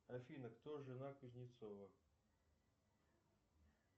афина кто жена кузнецова